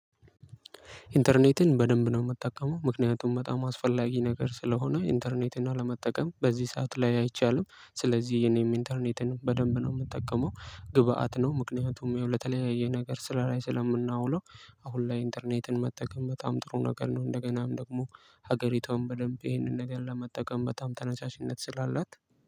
ኢንተርኔትን በደንብ ነው የምጠቀመው ምክንያቱም በጣም አስፈላጊ ነገር ስለሆነ ኢንተርኔትን አለመጠቀም በዚህ ሰዓት ላይ አይቻልም። ስለዚህ እኔም ኢንተርኔትን በደንብ ነው የምጠቀመው። ግብአት ነው ምክንያቱም ይኸው ለተለያየ ነገር ስራ ላይ ስለምናውለው። አሁን ላይ ኢንተርኔትን መጠቀም በጣም ጥሩ ነገር ነው። እንደገናም ደግሞ ሀገሪቷን በደንብ ይሄንን ነገር ለመጠቀም በጣም ተነሳሽነት ስላላት